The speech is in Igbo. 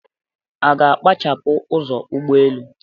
A ga-akpachapụ ụzọ ụgbọelu?